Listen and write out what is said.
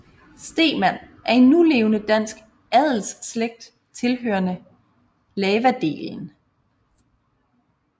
Stemann er en nulevende dansk adelsslægt tilhørende lavadelen